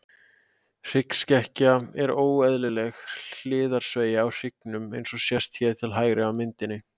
Hryggskekkja er óeðlileg hliðarsveigja á hryggnum, eins og sést hér til hægri á myndinni.